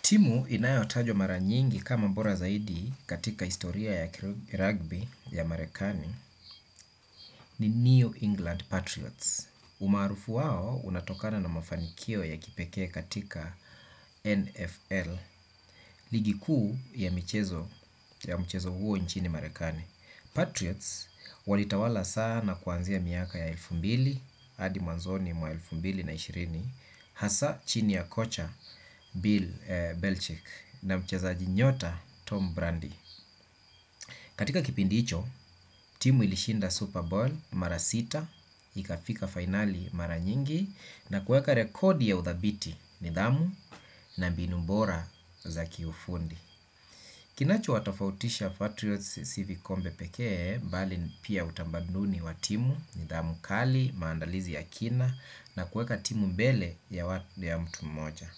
Timu inayotajwa mara nyingi kama bora zaidi katika historia ya rugby ya Marekani ni New England Patriots. Umaarufu wao unatokana na mafanikio ya kipekee katika NFL ligi kuu ya mchezo huo nchini. Marekani. Patriots walitawala sana kuanzia miaka ya mia mbili hadi mwanzoni mwa elfu mbili na ishirini hasa chini ya kocha Bill Belchick na mchezaji nyota Tom Brandy. Katika kipindi hicho timu ilishinda Super Bowl mara sita ikafika fainali mara nyingi. Na kueka rekodi ya udhabiti nidhamu na mbinu bora za kiufundi. Kinacho watofautisha Patriots sii vikombe pekee bali pia utamaduni wa timu nidhamu kali maandalizi ya kina. Na kueka timu mbele ya mtu mmoja